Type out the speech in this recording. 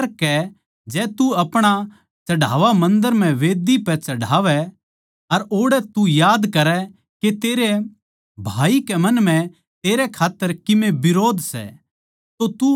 इस करकै जै तू अपणा चढ़ावा मन्दर म्ह मंढही पै चढ़ावै अर ओड़ै तू याद करै के तेरै भाई के मन म्ह तेरै खात्तर किमे बिरोध सै